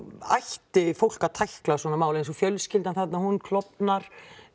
ætti fólk að tækla svona mál eins og fjölskyldan þarna hún klofnar